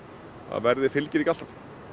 verðið fylgir ekki alltaf